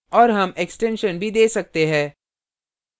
और हम extension भी we सकते है